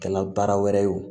Kɛ n na baara wɛrɛ ye o